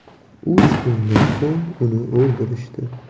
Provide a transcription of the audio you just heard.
Uch kundan so‘ng uni o‘ldirishdi.